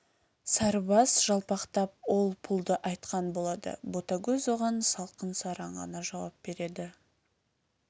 сарыбас жалпақтап ол-пұлды айтқан болады ботагөз оған салқын сараң ғана жауап береді